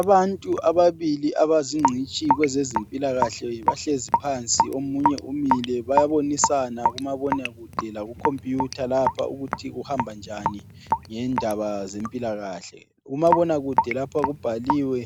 Abantu ababili abazingcitshi kwezezimpilakahle bahlezi phansi, omunye umile bayabonisana kumabonakude lakukhompiyutha lapha ukuthi kuhamba njani ngendaba zempilakahle. Kumabonakude lapha kubhaliwe